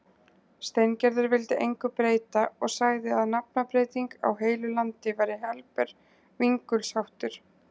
Steingerður vildi engu breyta og sagði að nafnabreyting á heilu landi væri helber vingulsháttur.